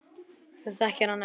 Þú þekkir hann ekkert.